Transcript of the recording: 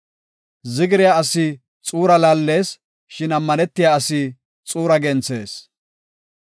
Zigiriya asi xuuraa laallees; shin ammanetiya asi xuuraa genthees.